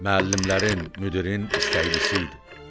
Müəllimlərin, müdirin istəklisi idi.